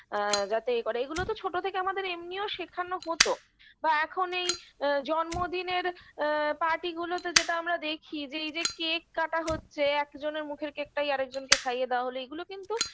আ যাতে এ করে এগুলো তো ছোটো থেকে আমাদের এমনিও শেখানো হতো বা এখন এই আ জন্মদিনের আ party গুলোতে যেটা আমরা দেখি যে এই যে cake কাটা হচ্ছে একজনের মুখের cake -টাই আরেকজনকে খাইয়ে দেওয়া হলো এইগুলো কিন্তু